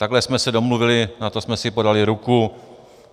Takhle jsme se domluvili, na to jsme si podali ruku.